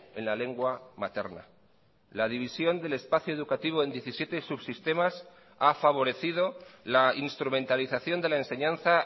en la lengua materna la división del espacio educativo en diecisiete subsistemas ha favorecido la instrumentalización de la enseñanza